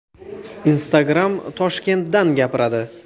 Instagram Toshkentdan gapiradi.